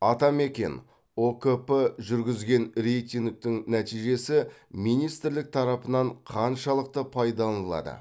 атамекен ұкп жүргізген рейтингтің нәтижесі министрлік тарапынан қаншалықты пайдаланылады